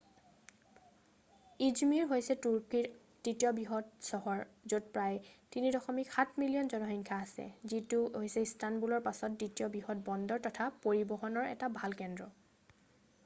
i̇zmir হৈছে তুৰ্কীৰ তৃতীয় বৃহৎ চহৰ য'ত প্ৰায় ৩.৭ মিলিয়ন জনসংখ্যা আছে যিটো হৈছে ইষ্টানবুলৰ পাছত দ্বিতীয় বৃহৎ বন্দৰ তথা পৰিবহণৰ এটা ভাল কেন্দ্ৰ।